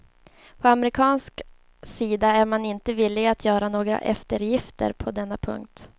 På amerikansk sida är man inte villig att göra några eftergifter på denna punkt.